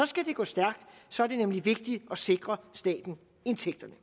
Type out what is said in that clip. skal det gå stærkt så er det nemlig vigtigt at sikre staten indtægterne